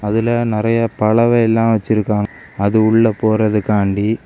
அதுல நறைய பலவையெல்லாம் வச்சிருக்காங்க அது உள்ள போறதுக்காண்டி.